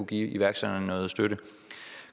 give iværksætterne noget støtte